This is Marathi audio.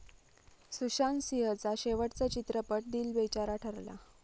सुशांत सिंहचा शेवटचा चित्रपट दिल बेचारा ठरला.